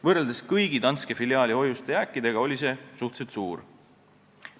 Võrreldes kõigi teiste Danske filiaali hoiuste jääkidega olid need suhteliselt suured.